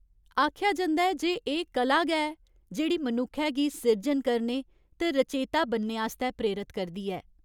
आखेआ जंदा ऐ जे एह् कला गै ऐ जेह्ड़ी मनुक्खै गी सिरजन करने ते रचेता बनने आस्तै प्रेरत करदी ऐ।